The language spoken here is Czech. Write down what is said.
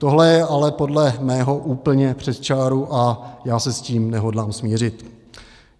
Tohle je ale podle mého úplně přes čáru a já se s tím nehodlám smířit.